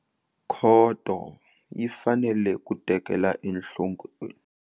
Khoto yi fanele ku tekela enhlokweni.